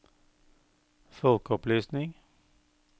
folkeopplysning